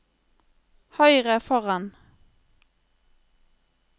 høyre foran